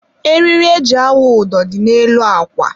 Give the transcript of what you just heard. eriri e ji awụ ụdọ dị n'elu akwa.